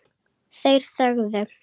Þeir þögðu.